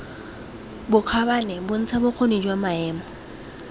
bokgabane bontsha bokgoni jwa maemo